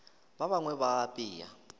ba bangwe ba a apea